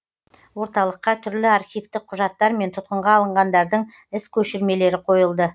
орталыққа түрлі архивтік құжаттар мен тұтқынға алынғандардың іс көшірмелері қойылды